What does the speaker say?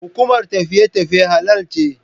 Hukumar tafiye tafiye halal ce.